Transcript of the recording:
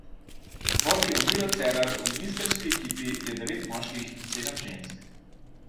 Vodi jo Miro Cerar, v ministrski ekipi je devet moških in sedem žensk.